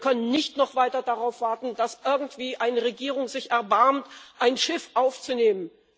Wir können nicht noch weiter darauf warten, dass irgendwie eine Regierung sich erbarmt, ein Schiff aufzunehmen.